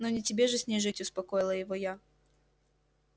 ну не тебе же с ней жить успокоила его я